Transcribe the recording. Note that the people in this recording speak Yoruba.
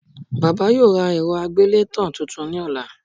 Bàbá yóò ra èrọ àgbélétàn tuntun ní ọ̀la